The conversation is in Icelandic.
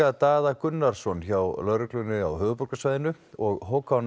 Daða Gunnarsson hjá lögreglunni á höfuðborgarsvæðinu og Hákon